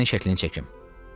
Sənin şəklinin çəkim.